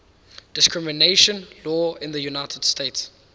discrimination law in the united states